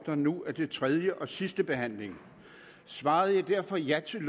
der nu er til tredje og sidste behandling svarede jeg derfor ja til